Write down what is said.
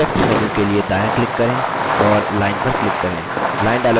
context menu के लिए दायाँclick करें और line पर click करें